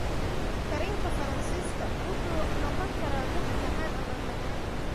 Kareemka Faransiiska wuxuu noqon karaa mid macaan ama macaan.